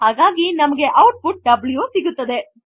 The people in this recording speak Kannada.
ಹಾಗಾಗಿ ನಮಗೆ ಔಟ್ ಪುಟ್ W ಸಿಗುತ್ತದೆ